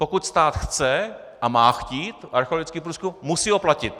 Pokud stát chce a má chtít archeologický průzkum, musí ho platit.